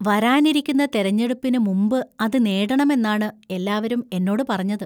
വരാനിരിക്കുന്ന തെരഞ്ഞെടുപ്പിന് മുമ്പ് അത് നേടണമെന്നാണ് എല്ലാവരും എന്നോട് പറഞ്ഞത്.